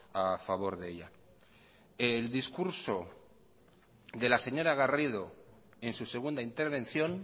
a favor de ella el discurso de la señora garrido en su segunda intervención